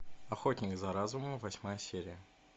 охотник за разумом восьмая серия